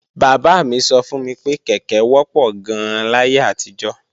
Bàbá mi sọ fún mi pé kèké wọ́pọ̀ gan-an láyé àtijọ́